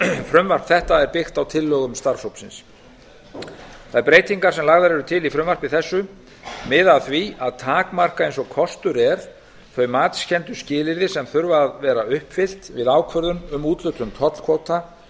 frumvarp þetta er byggt á tillögum starfshópsins þær breytingar sem lagðar eru til í frumvarpi þessu miða að því að takmarka eins og kostur er þau matskenndu skilyrði sem þurfa að vera uppfyllt við ákvörðun um úthlutun tollkvóta